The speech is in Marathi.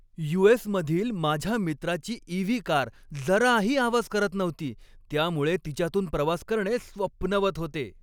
यू. एस. मधील माझ्या मित्राची ई. व्ही. कार जराही आवाज करत नव्हती त्यामुळे तिच्यातून प्रवास करणे स्वप्नवत होते.